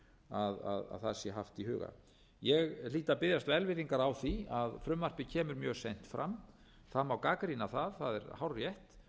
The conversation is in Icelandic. að það sé haft í huga ég hlýt að biðjast velvirðingar á því að frumvarpið kemur mjög seint fram það má gagnrýna það það er hárrétt en